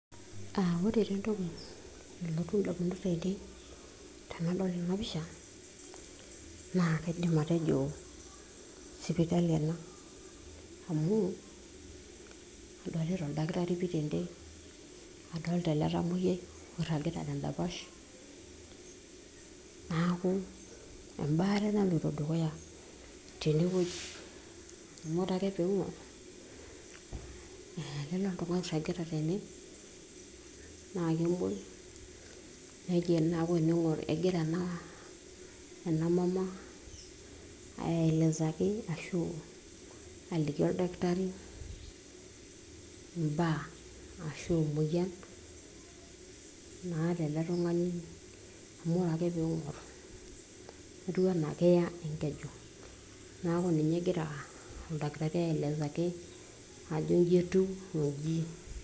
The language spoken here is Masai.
uh, ore taa entoki nalotu indamunot ainei tenadol ena pisha naa kaidim atejo sipitali ena, amu adolita oldakitari pii tende adolita ele tamoyiai oirragita tendapash naku embaare naloito dukuya tenewueji amu ore ake piing'orr uh, lele oltung'ani oirragita tene naa kemuoi nejia neku ening'orr egira ena, ena mama aelezaki ashu aliki oldakitari imbaa ashu emoyian naata ele tung'ani amu ore ping'orr etiu anaa keya enkeju naku ninye egira oldakitari aelezaki ajo inji etiu onji.